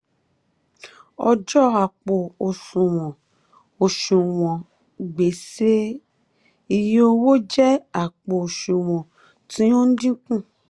ọjọ àpò um òsùnwọ̀n òsùnwọ̀n gbèsè iye owó jẹ àpò òsùnwọ̀n tí ó ń dínkù.